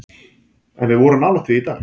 En við vorum nálægt því í dag.